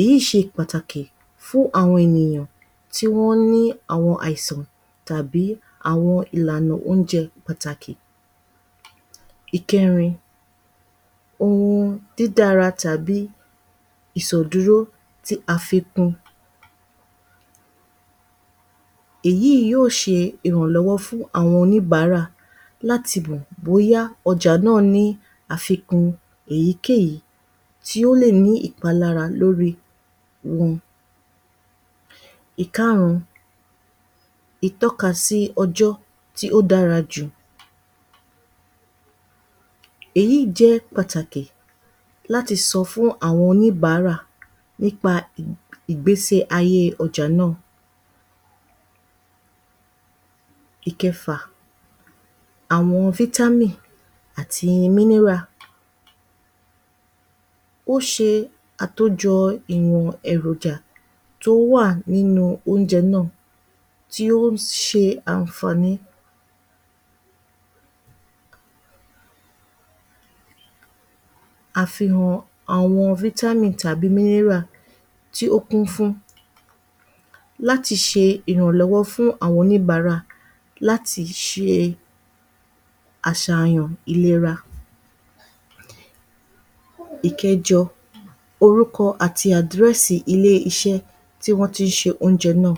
Èyí ṣe pàtàkì fún àwọn ènìyàn tí wọn ní àwọn àìsàn tàbí àwọn ìlànà oúnjẹ pàtàkì. Ìkẹrin. Ohun dídára tàbí ìsọ̀dúró tí a fi kún. Èyí yóò ṣe ìrànlọ́wọ́ fún àwọn oníbàárà láti mọ̀ bóyá ọjà náà ní àfikún èyíkéyìí tí ó lè ní ìpalára lórí òun. Ìkarùn-ún. Ìtọ́ka sí ọjọ́ tí ó dára jù. Èyí jẹ́ pàtàkì láti sọ fún àwọn oníbàárà nípa ìgbésí ayé ọjà náà. Ìkẹfà. Àwọn àti ó ṣe àtòjọ̀ ìmọ̀ èròjà tó wà nínú oúnjẹ náà tí ó ń ṣe àǹfààní àfihàn àwọn tàbí tí ó kún fún láti ṣe ìrànlọ́wọ́ fún àwọn oníbàárà láti ṣe àṣàyàn ìlera. Ìkẹjọ. Orúkọ àti àdírẹ̀sì ilé-ìṣe tí wọn tí í ṣe oúnjẹ náà.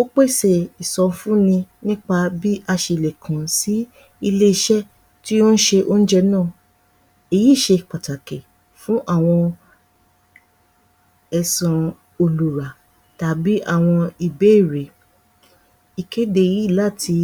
Ó pèsè ìsọ̀ fún ni nípa bí a ṣe lè kan sí ilé-ìṣe tí ó ṣe oúnjẹ náà. Èyí ṣe pàtàkì fún àwọn ẹ̀sàn òlùwà tàbí àwọn ìbéèrè. Ìkéde yìí láti